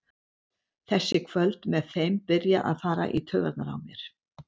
Þessi kvöld með þeim byrja að fara í taugarnar á mér.